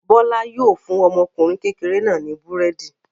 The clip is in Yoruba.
Bọ́lá yóò fún ọmọkùnrin kékeré náà ní búrẹ́dì.